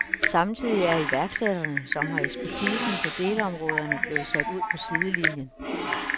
Samtidig er iværksætterne, som har ekspertisen på delområderne, blevet sat ud på sidelinien.